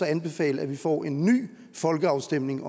anbefale at vi får en ny folkeafstemning